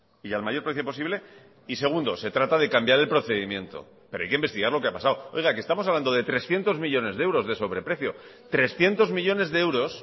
y al mayor precio posible y segundo se trata de cambiar el procedimiento pero hay que investigar lo que ha pasado oiga que estamos hablando de trescientos millónes de euros de sobreprecio trescientos millónes de euros